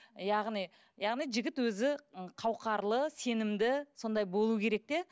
яғни яғни жігіт өзі қауқарлы сенімді сондай болуы керек те